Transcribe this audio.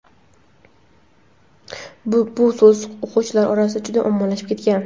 bu so‘z o‘quvchilar orasida juda ommalashib ketgan.